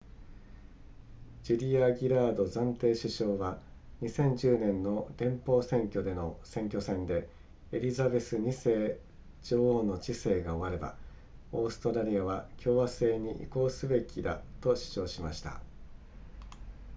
ジュリアギラード暫定首相は2010年の連邦選挙での選挙戦でエリザベス2世女王の治世が終わればオーストラリアは共和制に移行するべきだと主張しました